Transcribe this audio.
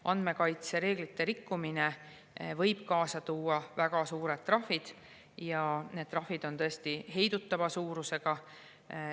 Andmekaitsereeglite rikkumine võib kaasa tuua väga suured trahvid, need trahvid on tõesti heidutava suurusega.